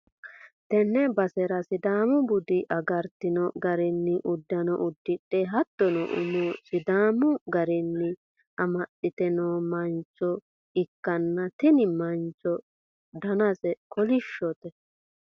tenne basera sidaamu bude agartino garinni uddano uddidhe hattono umo sidaamu garinni amaxxite no mancho ikkanna, tini mancho danaseno kolishshote